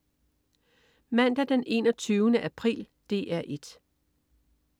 Mandag den 21. april - DR 1: